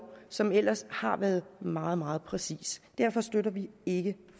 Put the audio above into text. som ellers har været meget meget præcis derfor støtter vi ikke